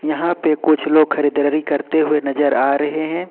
यहां पे कुछ लोग खरीदारी करते हुए नजर आ रहे हैं।